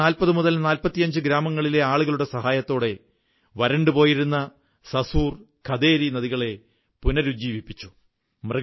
ഏകദേശം 4045 ഗ്രാമങ്ങളിലെ ആളുകളുടെ സഹായത്തോടെ വരണ്ടു പോയിരുന്ന സസുർ ഖദേരി നദികളെ പുനരുജ്ജീവിപ്പിച്ചു